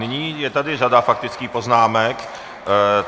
Nyní je tady řada faktických poznámek.